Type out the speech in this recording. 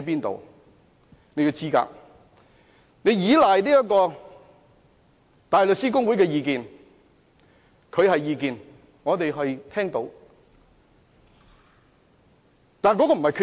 他以香港大律師公會的意見為依據，但這是意見而不是決定。